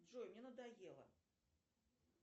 джой мне надоело